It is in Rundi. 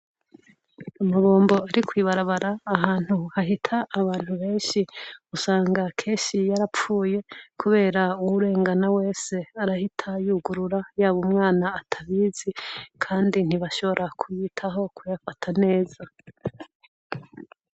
Amabombo ari kw'ibarabara ahantu hahita abantu benshi usanga kenshi yarapfuye kubera uwurengana wese arahita yugurura, yaba umwana atabizi, kandi ntibashobora kuyitaho kuyafata neza.